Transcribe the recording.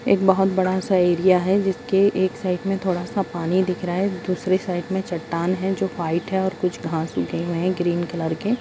एक बहुत बड़ा सा एरिया है जिसके एक साइड में थोड़ा सा पानी दिख रहा है दूसरे साइड में चट्टान है जो व्हाइट है और कुछ घास उगे हुए है ग्रीन कलर के ।